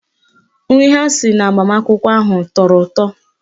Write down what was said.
Nri ha siri n'agbamakwụkwọ ahụ tọrọ ụtọ